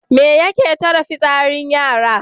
Me yake tare fitsarin yara?